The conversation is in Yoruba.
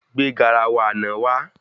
Gbé garawa àna wá